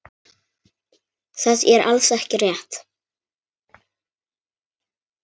Það er alls ekki rétt.